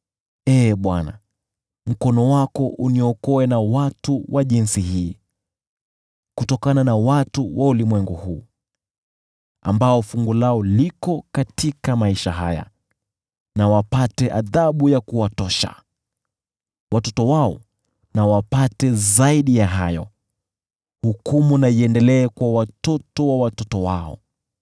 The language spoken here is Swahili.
Ee Bwana , mkono wako uniokoe na watu wa jinsi hii, kutokana na watu wa ulimwengu huu ambao fungu lao liko katika maisha haya. Na wapate adhabu ya kuwatosha. Watoto wao na wapate zaidi ya hayo, hukumu na iendelee kwa watoto wa watoto wao.